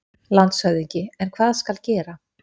LANDSHÖFÐINGI: En hvað skal gera?